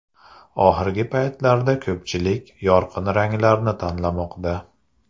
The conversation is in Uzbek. Oxirgi paytlarda ko‘pchilik yorqin ranglarni tanlamoqda.